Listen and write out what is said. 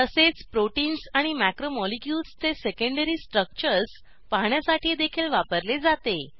तसेच प्रोटीन्स आणि मॅक्रोमोलिक्युल्स चे सेकेंडरी स्ट्रक्चर्स पाहण्यासाठीदेखील वापरले जाते